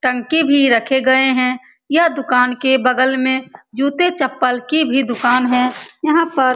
टंकी भी रखे हुए हैं। यह दुकान के बगल में जूते-चप्पल की भी दुकान हैं यहाँ पर --